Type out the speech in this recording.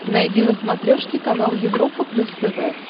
найди на смотрешке канал европа плюс тв